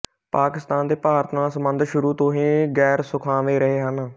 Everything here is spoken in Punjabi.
ਪਾਕਿਸਤਾਨ ਦੇ ਭਾਰਤ ਨਾਲ ਸਬੰਧ ਸ਼ੁਰੂ ਤੋਂ ਹੀ ਗੈਰਸੁਖਾਵੇਂ ਰਹੇ ਹਨ